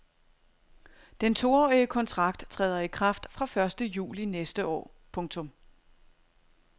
Den toårige kontrakt træder i kraft fra første juli næste år. punktum